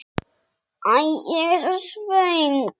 Æ, ég er svo svöng.